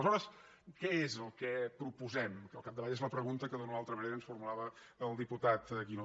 aleshores què és el que proposem que al capdavall és la pregunta que d’una o altra manera ens formulava el diputat guinó